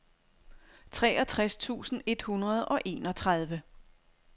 treogtres tusind et hundrede og enogtredive